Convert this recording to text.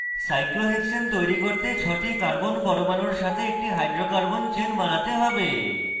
cyclohexane তৈরি করতে ছটি carbon পরমাণুর সাথে একটি hydrocarbon chain বানাতে have